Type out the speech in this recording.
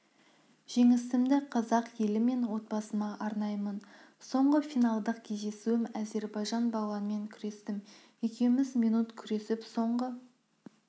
жеңісімді қазақ елі мен отбасыма арнаймын соңғы финалдық кездесуім әзербайжан балуанымен күрестім екеуміз минут күресіп соңғы